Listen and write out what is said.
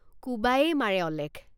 কোবায়েই মাৰে অলেখ।